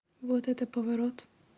вот это поворот